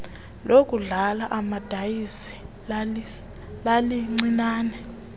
lokudlala amadayisi lalilincinane